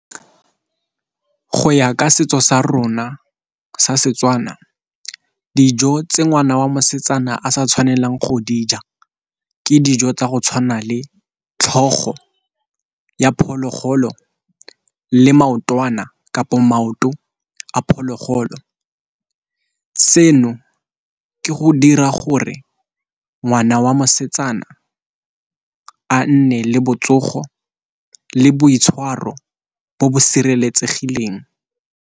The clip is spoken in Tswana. Go ya ka setso sa rona sa Setswana dijo tse ngwana wa mosetsana a sa tshwanelang go dija ke dijo tsa go tshwana le tlhogo ya phologolo le maotwana kapo maoto a phologolo. Seno ke go dira gore ngwana wa mosetsana a nne le botsogo le boitshwaro bo bo sireletsegileng.